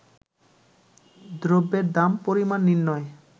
দ্রব্যের দাম, পরিমাণ নির্ণয়ে